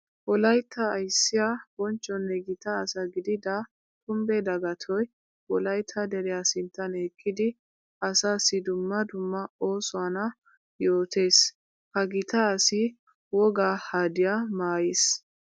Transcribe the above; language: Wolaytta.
Wolaytta ayssiya bonchonne gita asaa gididda Kumbbe Dagatoy wolaytta deriya sinttan eqqiddi asaasi dumma dumma oosuwanna yootes. Ha gita asi wogaa hadiya maayiis.